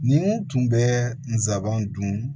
Ni n tun bɛ n sabanan dun